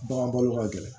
Bagan bɔlo ka gɛlɛn